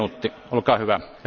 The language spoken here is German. Herr Präsident!